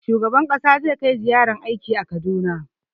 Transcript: Shugaban ƙasa zai kai ziyarar aiki Kaduna.